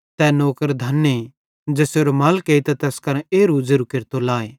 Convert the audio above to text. तै नौकर धने ज़ेसेरो मालिक एइतां तैस करां एरू ज़ेरू केरतो लाए